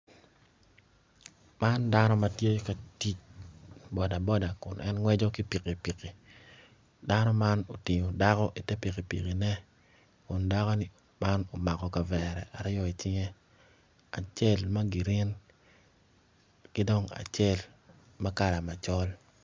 Man dano ma tye ka tic boda kun en gweco ki pikipiki dano man otingo dako i te pikipikine kun dako man omako kavere aryo i cinge acel ma girin ki dong acel ma kala macol